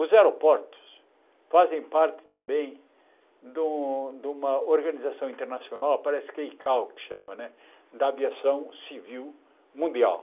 Os aeroportos fazem parte também de uma de uma organização internacional, parece que é Icao que chama, da Aviação Civil Mundial.